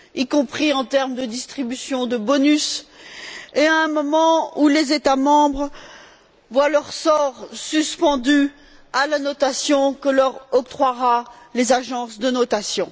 y compris en termes de distribution de bonus, et à un moment où les États membres voient leur sort suspendu à la notation que leur octroieront les agences de notation.